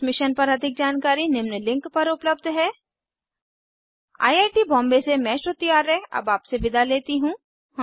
इस मिशन पर अधिक जानकारी निम्न लिंक पर उपलब्ध है httpspoken tutorialorgNMEICT Intro I I T Bombay से मैं श्रुति आर्य अब आपसे विदा लेती हूँ